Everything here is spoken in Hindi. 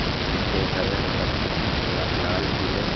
जिनके हरे हरे पत्ते हैं लाल पीले--